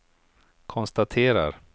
konstaterar